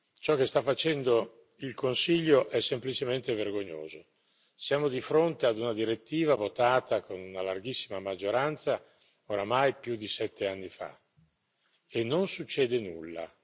Ciò che sta facendo il Consiglio è semplicemente vergognoso siamo di fronte a una direttiva votata con una larghissima maggioranza oramai più di 7 anni fa e non succede nulla.